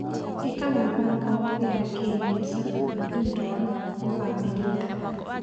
ĩka mĩbango ya kĩmbeca nĩ ũndũ wa bamĩrĩ.